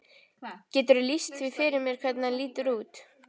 Geturðu lýst því fyrir mér hvernig hann lítur út?